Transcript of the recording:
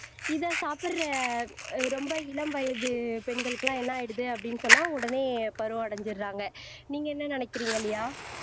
இதை சாப்பிடற ஆஹ் ரொம்ப இளம் வயது பெண்களுக்கு எல்லாம் என்ன ஆயிடுது அப்படின்னு சொன்னா உடனே பருவம் அடைஞ்சிடுறாங்க நீங்க என்ன நினைக்கிறீங்க லியா